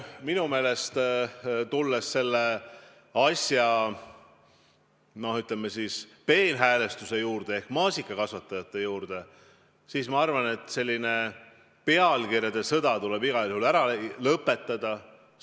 Nüüd, tulles selle asja, ütleme siis, peenhäälestuse juurde ehk maasikakasvatajate juurde, siis ma arvan, et selline pealkirjade sõda tuleb igal juhul ära lõpetada.